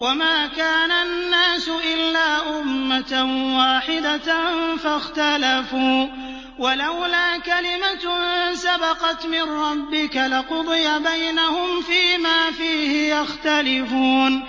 وَمَا كَانَ النَّاسُ إِلَّا أُمَّةً وَاحِدَةً فَاخْتَلَفُوا ۚ وَلَوْلَا كَلِمَةٌ سَبَقَتْ مِن رَّبِّكَ لَقُضِيَ بَيْنَهُمْ فِيمَا فِيهِ يَخْتَلِفُونَ